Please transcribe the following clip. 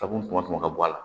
Ka kunmɔ ka bɔ a la